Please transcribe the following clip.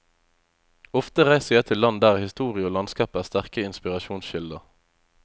Ofte reiser jeg til land der historie og landskap er sterke inspirasjonskilder.